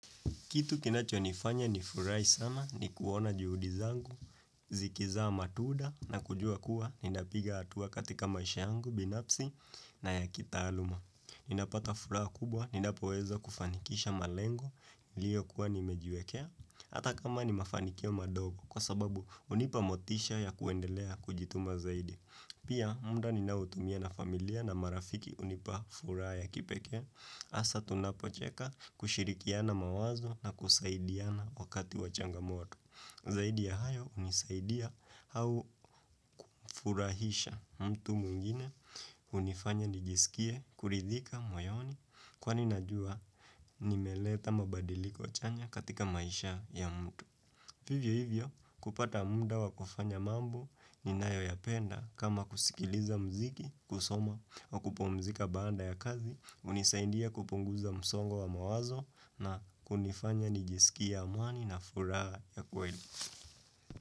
Kitu kinacho nifanya ni furai sana ni kuona juhudi zangu, zikiza matuda na kujua kuwa ninapiga hatua katika maisha yangu binafsi na yakitaaluma. Ninapata furaha kubwa ninapoweza kufanikisha malengo liyo kuwa nimejuekea ata kama nimafanikia madogo kwa sababu unipa motisha ya kuendelea kujituma zaidi. Pia muda ninaotumia na familia na marafiki unipa furaha ya kipeke. Asa tunapocheka kushirikiana mawazo na kusaidiana wakati wachanga mwoto. Zaidi ya hayo unisaidia kumfurahisha mtu mwngine unifanya nijisikie kuridhika moyoni kwa ninajua nimeleta mabadiliko chanya katika maisha ya mtu. Vivyo hivyo, kupata muda wa kufanya mambo ni nayo ya penda kama kusikiliza mziki, kusoma wa kupumzika baada ya kazi, unisaindia kupunguza msongo wa mawazo na kunifanya nijisikia amani na furaha ya kweli.